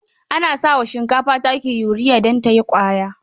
Ana sa wa shinkafa taki yuriya don ta yi ƙwaya.